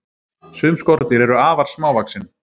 sum skordýr eru afar smávaxin